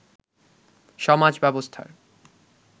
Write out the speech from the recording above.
সমাজ ব্যবস্থার